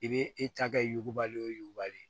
I bɛ e ta kɛ yugubali o yuguba de